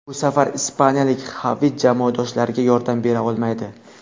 Bu safar ispaniyalik Xavi jamoadoshlariga yordam bera olmaydi.